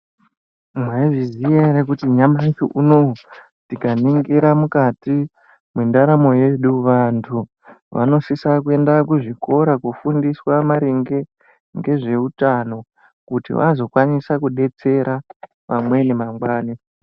Mwaizviziya ere kuti nyamushi unowi tikaningira mukati mwendaramo yedu vantu vanosisa kuenda kuzvikora kofundiswa maringe ngezveutano kuti vakokwanisa kudetsera pamweni mangwani.